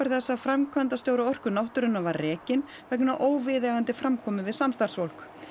þess að framkvæmdastjóri Orku náttúrunnar var rekinn vegna óviðeigandi framkomu við samstarfsfólk